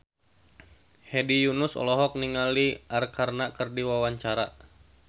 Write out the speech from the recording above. Hedi Yunus olohok ningali Arkarna keur diwawancara